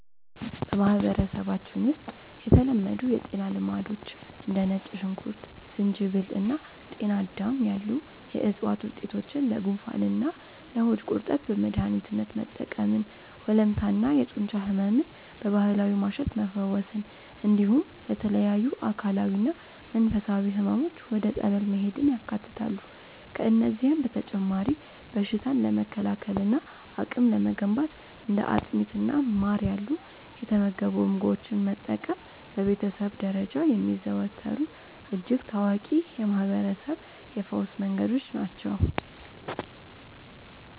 በማህበረሰባችን ውስጥ የተለመዱ የጤና ልማዶች እንደ ነጭ ሽንኩርት፣ ዝንጅብል እና ጤናዳም ያሉ የዕፅዋት ውጤቶችን ለጉንፋንና ለሆድ ቁርጠት በመድኃኒትነት መጠቀምን፣ ወለምታና የጡንቻ ሕመምን በባህላዊ ማሸት መፈወስን፣ እንዲሁም ለተለያዩ አካላዊና መንፈሳዊ ሕመሞች ወደ ጸበል መሄድን ያካትታሉ። ከእነዚህም በተጨማሪ በሽታን ለመከላከልና አቅም ለመገንባት እንደ አጥሚትና ማር ያሉ የተመገቡ ምግቦችን መጠቀም በቤተሰብ ደረጃ የሚዘወተሩ እጅግ ታዋቂ የማህርበረሰብ የፈውስ መንገዶች ናቸው።